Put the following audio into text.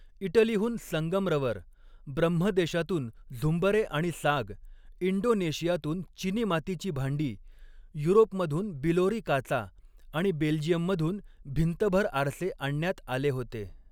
इटलीहून संगमरवर, ब्रह्मदेशातून झुंबरे आणि साग, इंडोनेशियातून चिनीमातीची भांडी, युरोपमधून बिलोरी काचा आणि बेल्जियममधून भिंतभर आरसे आणण्यात आले होते.